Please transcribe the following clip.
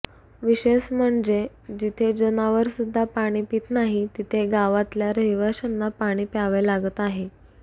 विशेष म्हणजे जिथे जनावरसुद्धा पाणी पीत नाही तिथे गावातल्या रहिवाशांना पाणी प्यावे लागत आहे